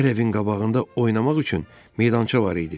Hər evin qabağında oynamaq üçün meydança var idi.